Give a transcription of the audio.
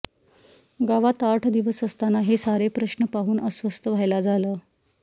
गावात आठ दिवस असताना हे सारे प्रश्न पाहून अस्वस्थ व्हायला झालं